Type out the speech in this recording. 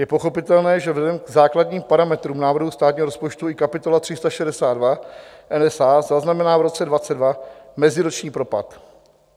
Je pochopitelné, že vzhledem k základním parametrům návrhu státní rozpočtu i kapitola 362 NSA zaznamená v roce 2022 meziroční propad.